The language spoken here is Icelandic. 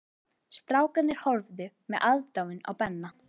Strákarnir horfðu með aðdáun á Benna.